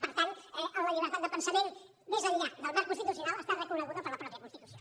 per tant la llibertat de pensament més enllà del marc constitucional està reconeguda per la mateixa constitució